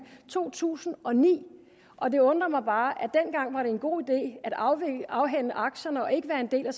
to tusind og ni og det undrer mig bare at en god idé at afhænde afhænde aktierne og ikke være en del af